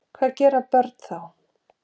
Hvað gera börn þá?